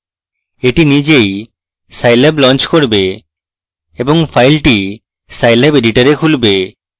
এটি নিজেই scilab launch করবে এবং file scilab editor এ খুলবে